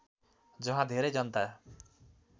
जहाँ धेरै जनता